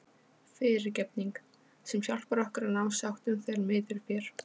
FYRIRGEFNING- sem hjálpar okkur að ná sáttum þegar miður fer.